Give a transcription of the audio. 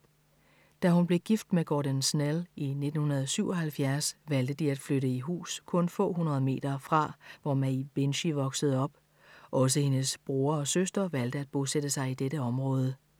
Da hun blev gift med Gordon Snell i 1977 valgte de at flytte i hus kun få hundrede meter fra, hvor Maeve Binchy voksede op. Også hendes bror og søster valgte at bosætte sig i dette område.